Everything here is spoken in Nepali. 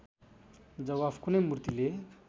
जवाफ कुनै मूर्तिले